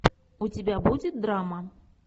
у тебя будет драма